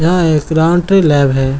यह एक laundry lab है।